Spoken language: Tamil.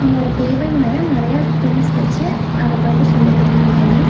இங்க ஒரு டேபிள் மேல நறைய திங்ஸ் வெச்சு அத பாத்து சொல்லிக் குடுத்துட்ருக்காரு.